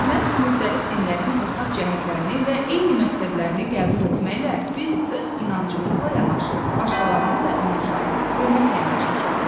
Məhz müxtəlif dinlərin ortaq cəhətlərini və eyni məqsədlərini qəbul etməklə biz öz inancımızla yanaşı, başqalarının da inanclarına hörmətlə yanaşmış oluruq.